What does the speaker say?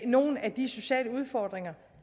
nogle af de sociale udfordringer